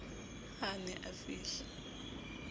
ha a ne a fihla